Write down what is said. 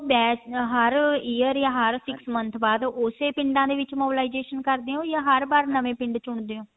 batch ਹਰ year ਯਾ ਹਰ six month ਬਾਅਦ ਓਸੇ ਪਿੰਡਾਂ ਦੇ ਵਿੱਚ mobilization ਕਰਦੇ ਹੋ ਯਾ ਹਰ ਵਾਰ ਨਵੇਂ ਪਿੰਡ ਚੁਣਦੇ ਹੋ